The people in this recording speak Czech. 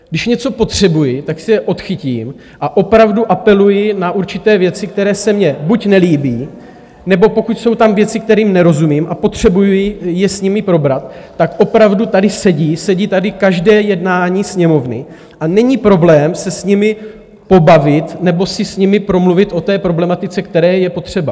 Když něco potřebuji, tak si je odchytím a opravdu apeluji na určité věci, které se mně buď nelíbí, nebo pokud jsou tam věci, kterým nerozumím a potřebuji je s nimi probrat, tak opravdu tady sedí, sedí tady každé jednání Sněmovny a není problém se s nimi pobavit nebo si s nimi promluvit o té problematice, která je potřeba.